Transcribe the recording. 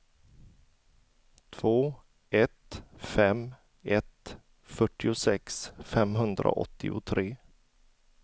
två ett fem ett fyrtiosex femhundraåttiotre